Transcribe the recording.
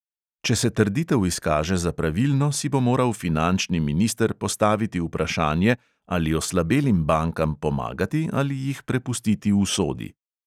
Če se trditev izkaže za pravilno, si bo moral finančni minister postaviti vprašanje, ali oslabelim bankam pomagati ali jih prepustiti usodi.